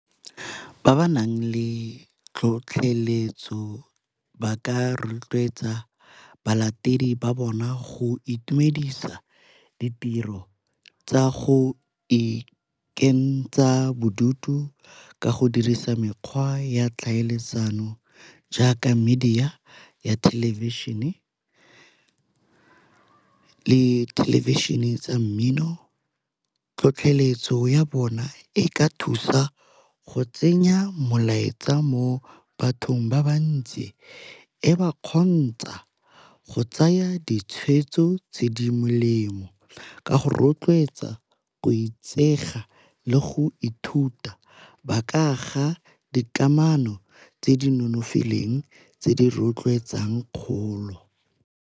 Ba ba nang le tlhotlheletso ba ka rotloetsa balatedi ba bona go itumedisa ditiro tsa go ikentsha bodutu ka go dirisa mekgwa ya tlhaeletsano jaaka, media ya thelebišhene le thelebišhene tsa mmino. Tlhotlheletso ya bona e ka thusa go tsenya mmolaetsa mo bathong ba ba ntsi e ba kgontsha go tsaya ditshwetso tse di melemo ka go rotloetsa go itsega le go ithuta ba kaga dikamano tse di nonofileng tse di rotloetsang kgolo.